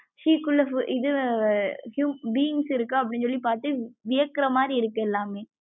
sea குள்ள இது huge beings இருக்கா அப்படினு சொல்லி பாத்து வியக்குறமாரி இருக்கு எல்லாமமே.